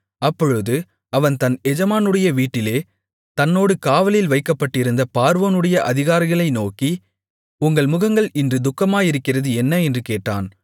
அப்பொழுது அவன் தன் எஜமானுடைய வீட்டில் தன்னோடு காவலில் வைக்கப்பட்டிருந்த பார்வோனுடைய அதிகாரிகளை நோக்கி உங்கள் முகங்கள் இன்று துக்கமாயிருக்கிறது என்ன என்று கேட்டான்